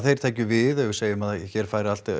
þeir tækju við ef við segjum að hér færi allt